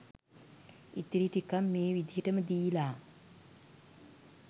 ඉතිරි ටිකත් මේ විදිහට ම දීල